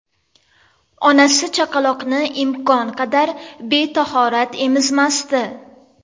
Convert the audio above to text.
Onasi chaqaloqni imkon qadar betahorat emizmasdi.